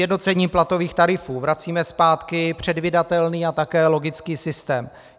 Sjednocením platových tarifů vracíme zpátky předvídatelný a také logický systém.